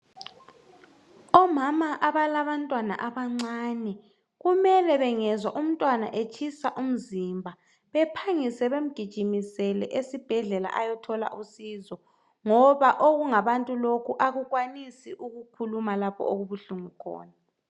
Omama abalabantwana abancane kumele bengezwa umntwana etshisa umzimba baphangise bemgijimisele esibhedlela ayethola usizo ngoba okungabantu lokhu akukwanisi ukukhuluma lapho okubuhlungu khona